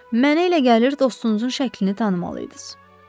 Mənə elə gəlir dostunuzun şəklini tanımalı idiniz.